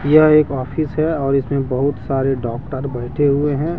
यह एक ऑफिस है और इसमें बहुत सारे डॉक्टर बैठे हुए हैं।